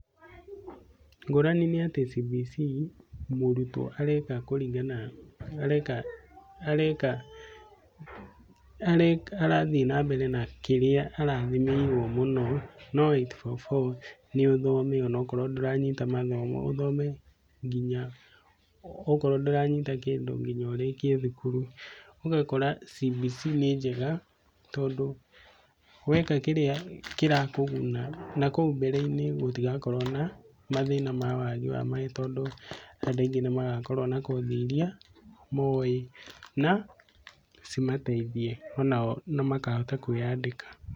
Ngũrani nĩ atĩ CBC mũrutwo areka kũringana na, areka areka, arathiĩ na mbere na kĩrĩa arathimĩirwo mũno no 8-4-4 nĩ ũthome onakorwo ndũranyita mathomo ũthome nginya, okorwo ndũranyita kĩndũ no nginya ũrĩkie thukuru, ũgakora CBC nĩ njega tondũ weka kĩrĩa kĩrakũguna na kũu mbere-inĩ gũtigakorwo na, mathĩna ma wagi wa mawĩra tondũ andũ aingĩ nĩ magakorwo na kothi iria moĩ na cimateithie ona o makahota kwĩyandĩka.